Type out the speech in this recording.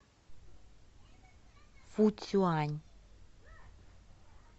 фуцюань